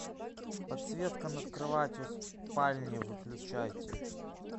подсветка над кроватью в спальне выключайте